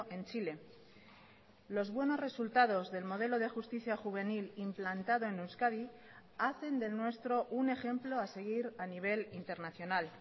en chile los buenos resultados del modelo de justicia juvenil implantado en euskadi hacen del nuestro un ejemplo a seguir a nivel internacional